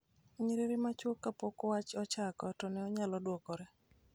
nyiriri machuok kapok wach ochako, to ne onyalo dwokore